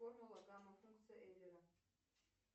формула гамма функция эйлера